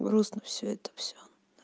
грустно всё это всё